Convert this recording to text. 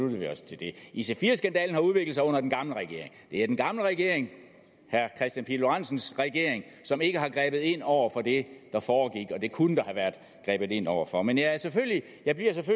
vi os til det ic4 skandalen har udviklet sig under den gamle regering det er den gamle regering herre kristian pihl lorentzens regering som ikke har grebet ind over for det der foregik og det kunne der have været grebet ind over for men jeg bliver selvfølgelig